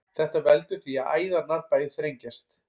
þetta veldur því að æðarnar bæði þrengjast